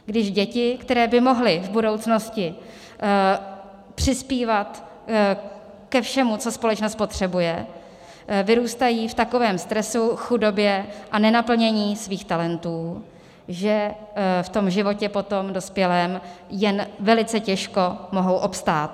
Když děti, které by mohly v budoucnosti přispívat ke všemu, co společnost potřebuje, vyrůstají v takovém stresu, chudobě a nenaplnění svých talentů, že v tom životě potom dospělém jen velice těžko mohou obstát.